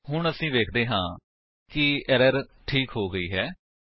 ਹੁਣ ਅਸੀ ਵੇਖਦੇ ਹਾਂ ਕਿ ਐਰਰ ਠੀਕ ਹੋ ਗਈ ਹੈ